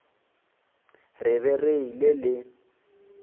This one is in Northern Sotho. re be re ile le